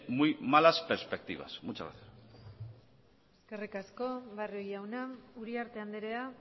muy malas perspectivas muchas gracias eskerrik asko barrio jauna uriarte andrea